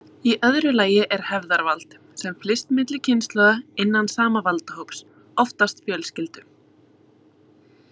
Í öðru lagi er hefðarvald, sem flyst milli kynslóða innan sama valdahóps, oftast fjölskyldu.